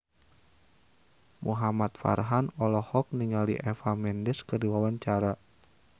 Muhamad Farhan olohok ningali Eva Mendes keur diwawancara